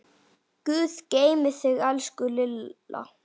Guð geymi þig, elsku Lilla.